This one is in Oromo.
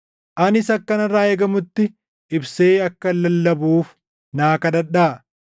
Anis akka narraa eegamutti ibsee akkan lallabuuf naa kadhadhaa.